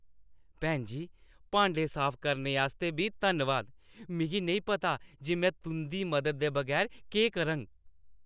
भैन जी, भांडे साफ करने आस्तै बी धन्नवाद । मिगी नेईं पता जे में तुंʼदी मददा दे बगैर केह् करङ।